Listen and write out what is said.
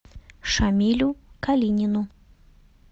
шамилю калинину